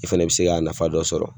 I fana bɛ se k'a nafa dɔ sɔrɔ